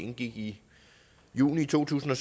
indgik i juni to tusind